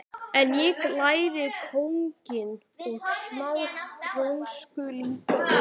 En ég lærði kokkinn og smá frönsku líka og